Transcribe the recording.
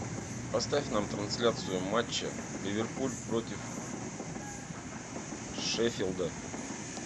поставь нам трансляцию матча ливерпуль против шеффилда